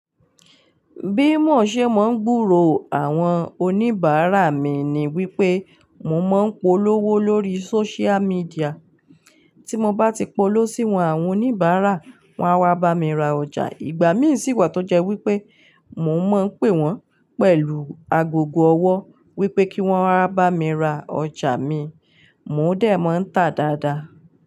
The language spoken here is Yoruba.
Bí mò ṣé mò ń gbúrò àwọn oníbàárà mi ni wípé mò ń máa ń polówó lórí sócial médià. Tí mò bá ti polówó sí wọn, àwọn oníbàárà wọn á wá bá mi ra ọjà. Ìgbà mí sì wà tó jẹ́ wípé mò ń máa ń pè wọ́n pẹ̀lú agogo ọwọ́ wípé kí wọ́n wá bá mi ra ọjà mi, mò ń dẹ̀ mọ ń tà dáadáa.